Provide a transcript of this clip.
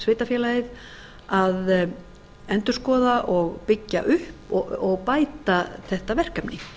kaupmannahafnarsveitarfélagið að endurskoða og byggja upp og bæta þetta verkefni